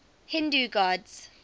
hindu gods